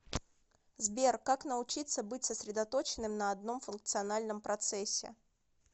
сбер как научиться быть сосредоточенным на одном функциональном процессе